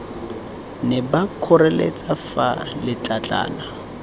ne ba nkgoreletsa fa letlatlana